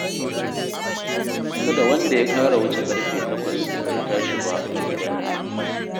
Kada wanda ya ƙara wuce ƙarfe takwas bai tashi ba a gidan nan